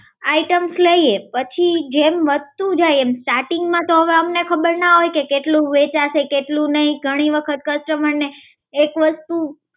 items લઈએ પછી જેમ વસ્તુ જાય એમ starting માં તો હવે અમને ખબર ના હોય કે કેટલું વહેંચાશે કેટલું નહીં, ઘણી વખત customer ને એક વસ્